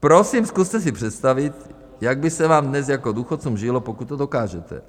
Prosím, zkuste si představit, jak by se vám dnes jako důchodcům žilo, pokud to dokážete.